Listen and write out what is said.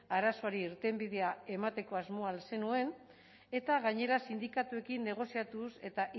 arazoari irtenbidea emateko asmoa al zenuen eta gainera sindikatuekin negoziatuz eta